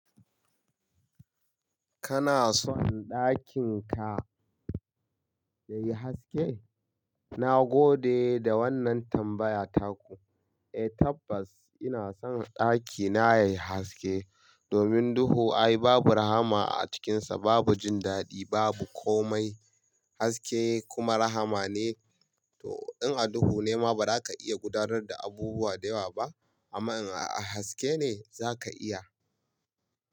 Kana son ɗakin ka yayi haske? Na gode da wannan tambaya taku. Eh tabbas ina son ɗakina yayi haske. Domin duhu ai babu rahama a cikinsa, babu jin daɗi, babu komai. Haske kuma rahama ne. To in a duhu ne ma ba za ka iya gudanar da abubuwa da yawa ba, amma in a haske ne za ka iya.